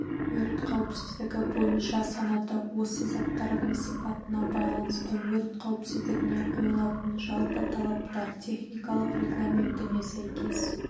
өрт қауіпсіздігі бойынша санаты осы заттардың сипатына байланысты өрт қауіпсіздігіне қойылатын жалпы талаптар техникалық регламентіне сәйкес